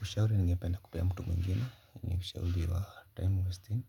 Ushauri ningependa kupea mtu mwingine ni ushauri wa time wasting